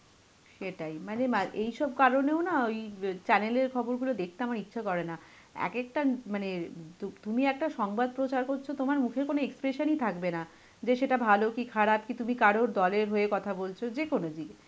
সেটাই, মানে মা~ এইসব কারণেও না, ওই আ channel এর খবরগুলো দেখতে আমার ইচ্ছে করেনা. এক একটা, মানে এর তুম~ তুমি একটা সংবাদ প্রচার করছো, তোমার মুখে কোন expression ই থাকবে না, যে সেটা ভালো কি খারাপ, কি তুমি কারোর দলের হয়ে কথা বলছো, যেকোনো